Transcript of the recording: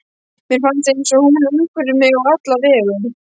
Mér finnst eins og hún umvefji mig á alla vegu.